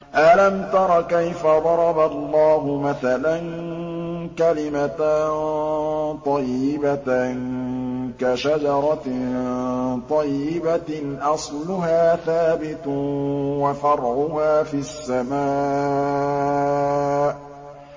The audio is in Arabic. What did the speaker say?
أَلَمْ تَرَ كَيْفَ ضَرَبَ اللَّهُ مَثَلًا كَلِمَةً طَيِّبَةً كَشَجَرَةٍ طَيِّبَةٍ أَصْلُهَا ثَابِتٌ وَفَرْعُهَا فِي السَّمَاءِ